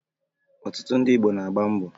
Ọtụtụ ndị Igbo na-agba mbọ